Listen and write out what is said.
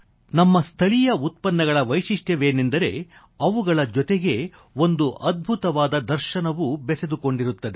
ನಮ್ಮ ಸ್ಥಳೀಯ ಉತ್ಪನ್ನಗಳ ವಿಶೇಷತೆಯೇನೆಂದರೆ ಅವುಗಳ ಜೊತೆಗೆ ಒಂದು ಅದ್ಭುತವಾದ ದರ್ಶನವೂ ಬೆಸೆದುಕೊಂಡಿರುತ್ತದೆ